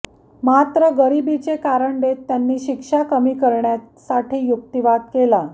मात्र गरिबीचे कारण देत त्यांनी शिक्षा कमी करण्यासाठी युक्तिवाद केला